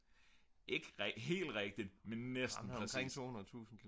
ikke helt rigtigt men næsten præcist